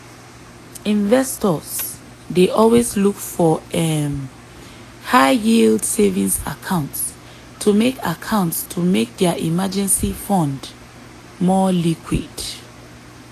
investors dey always look for um high-yield savings accounts to make accounts to make dia emergency fund more liquid.